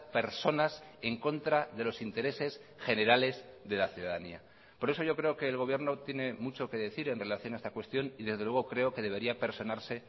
personas en contra de los intereses generales de la ciudadanía por eso yo creo que el gobierno tiene mucho que decir en relación a esta cuestión y desde luego creo que debería personarse